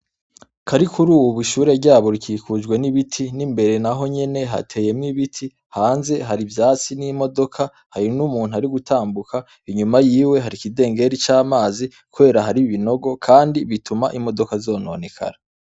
Karikurubu ishure ryabo rikikujwe n'ibiti n'imbere, naho nyene hateyemwo ibiti, hanze hari ivyatsi n'imodoka, hari n'umuntu ari gutambuka, inyuma yiwe hari ikidengeri c'amazi, kubera hari ibinogo, kandi bituma imodoka zononekara.